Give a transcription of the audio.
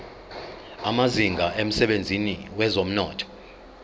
amazinga emsebenzini wezomnotho